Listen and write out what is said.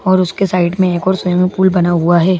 और उसके साइड में एक और स्विमिंग पूल बना हुआ है।